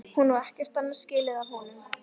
Hún á ekkert annað skilið af honum.